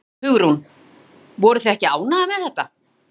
Hugrún: Voruð þið ekki ánægðar með það?